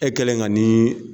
E kɛlen ka nin